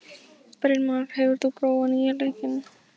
Brynmar, hefur þú prófað nýja leikinn?